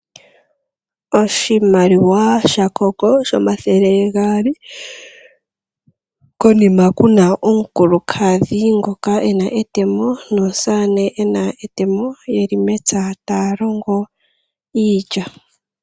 Oshimaliwa sha CONGO shomathele gaali, konima ku na omukulukadhi ngoka ena etemo nomusamane ena etemo yeli mepya taya longo iilya.